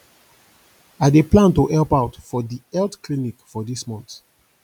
i dey plan to help out for di health clinic for dis month